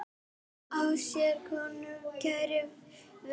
Á sér konu kæra ver.